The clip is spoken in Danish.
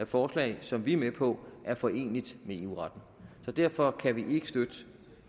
forslag som vi er med på er foreneligt med eu retten så derfor kan vi ikke støtte